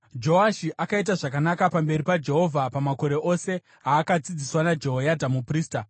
Joashi akaita zvakanaka pamberi paJehovha pamakore ose aakadzidziswa naJehoyadha muprista.